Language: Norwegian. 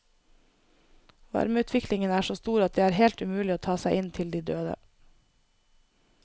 Varmeutviklingen er så stor at det er helt umulig å ta seg inn til de døde.